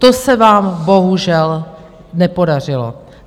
To se vám bohužel nepodařilo.